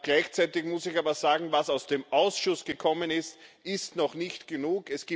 Gleichzeitig muss ich aber sagen, was aus dem Ausschuss gekommen ist, ist noch nicht genug.